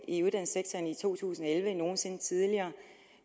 i uddannelsessektoren i to tusind og elleve end nogen sinde tidligere